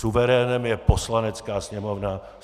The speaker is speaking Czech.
Suverénem je Poslanecká sněmovna.